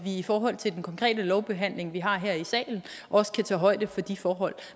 i forhold til den konkrete lovbehandling vi har her i salen også kan tage højde for de forhold